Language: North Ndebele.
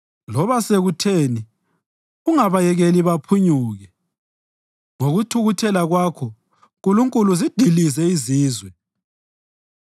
Loba sekutheni ungabayekeli baphunyuke; ngokuthukuthela kwakho, Nkulunkulu, zidilize izizwe.